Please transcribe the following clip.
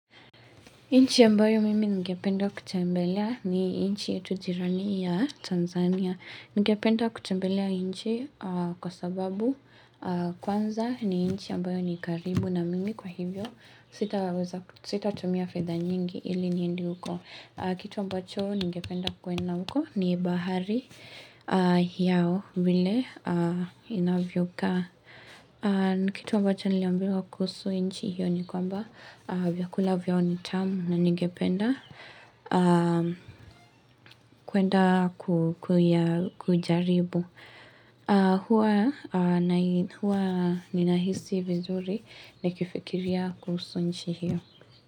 Inchi ambayo mimi ningependa kutembelea ni inchi yetu jirani ya Tanzania. Ni ngependa kutembelea hii inchi kwa sababu kwanza ni inchi ambayo ni karibu na mimi kwa hivyo, sitaweza. Sitatumia fedha nyingi ili ni ende uko. Kitu ambacho ningependa kuona huko ni bahari yao vile inavyokaa. Kitu ambacho niliambiwa kuhusu inchi hiyo ni kwamba vyakula vyao ni tamu na ningependa kwenda kujaribu huwa ninahisi vizuri ni kifikiria kuhusu nchi hiyo.